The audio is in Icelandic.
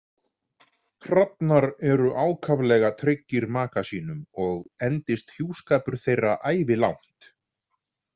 Hrafnar eru ákaflega tryggir maka sínum og endist hjúskapur þeirra ævilangt.